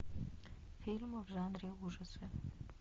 фильмы в жанре ужасы